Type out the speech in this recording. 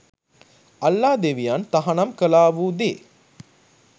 අල්ලා ‍දෙවියන් තහනම් කළාවු දේ